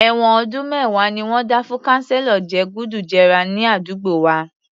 Èwọ̀n ọdún mẹ́wàá ni wọ́n dá fún kanselo je gùdù jẹrà ní àdúgbò wa